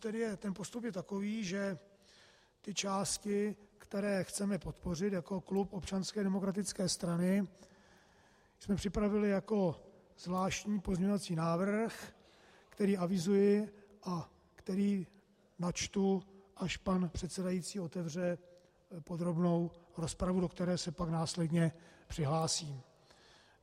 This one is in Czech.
Ten postup je takový, že ty části, které chceme podpořit jako klub Občanské demokratické strany, jsme připravili jako zvláštní pozměňovací návrh, který avizuji a který načtu, až pan předsedající otevře podrobnou rozpravu, do které se pak následně přihlásím.